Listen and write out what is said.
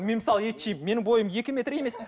мен мысалы ет жеймін менің бойым екі метр емес